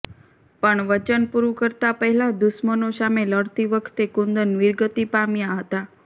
પણ વચન પુરુ કરતાં પહેલાં દુશ્મનો સામે લડતી વખતે કુંદન વીરગતિ પામ્યા હતા